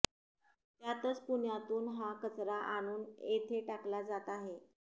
त्यातच पुण्यातून हा कचरा आणून येथे टाकला जात आहे